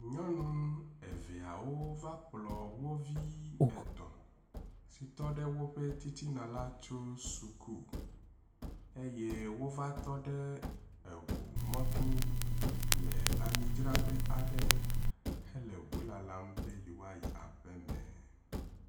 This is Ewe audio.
Nyɔnu eveawo wova kplɔ wovi etɔ si tɔ ɖe woƒe titina la tso suku eye wova tɔ ɖe eʋu mɔto le amidzraƒe aɖe hele ʋu lalam be yewoayi aƒeme.